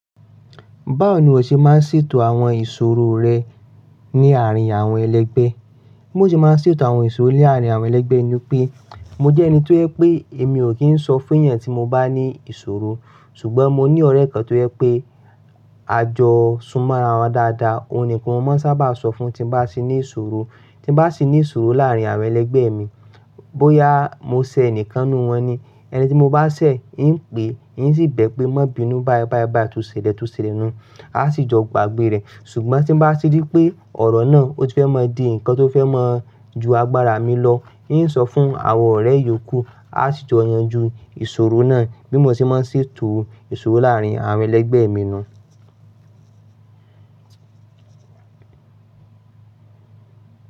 Báwo ni o ṣe máa ń ṣètò àwọn ìṣòro rẹ ní àárín àwọn ẹlẹgbẹ́? Bí mo ṣe máa ń ṣètò àwọn ìṣòro ní àárín àwọn ẹlẹgbẹ́ ni i pé, mo jẹ́ ẹni tó yẹ pé èmi ò kí ń sọ fún ẹyan tí mo bá ní ìṣòro. Ṣùgbọ́n mo ní ọ̀rẹ́ kan tó yẹ pé, a jọ súnmọ́ ara wa dáadáa. Òun ni kan ni mo máa ń sábà sọ fún tí ba ti ní ìṣòro. Tí bá sì ní ìṣòro láàárín àwọn ẹlẹgbẹ́ mi, bóyá mo ṣẹ̀ ẹnìkan nínú wọn ni, ẹni tí mo bá ṣẹ̀, n pè, n sì bẹ́ẹ̀ pé, má bi inú, báyi báyi tó ṣẹlẹ̀ tó ṣẹlẹ̀ nu un, a sì jọ gbàgbé rẹ̀. Ṣùgbọ́n tí bá ti rí pé ọ̀rọ̀ náà ó ti fẹ́ máa di ǹkan tó fẹ́ máa ju agbára mi lọ, n sọ fún àwọn ọ̀rẹ́ iyòókù, a sì jọ yanjú ìṣòro náà. Bí mo ṣe máa ń ṣètò ìṣòro láàárín àwọn ẹlẹgbẹ́ mi nu un.